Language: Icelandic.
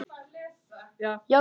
Eiga þau þrjú börn.